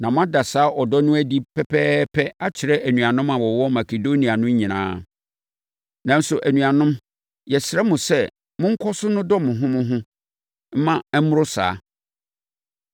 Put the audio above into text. Na moada saa ɔdɔ no adi pɛpɛɛpɛ akyerɛ anuanom a wɔwɔ Makedonia no nyinaa. Nanso, anuanom, yɛsrɛ mo sɛ monkɔ so nnodɔ mo ho mo ho mma ɛmmoro saa.